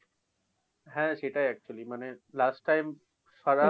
হ্যা সেটাই actually মানে last time ছাড়া